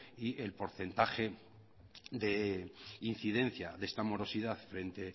y el porcentaje de incidencia de esta morosidad frente